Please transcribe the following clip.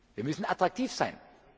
Wir müssen attraktiv sein!